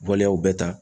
Waleyaw bɛɛ ta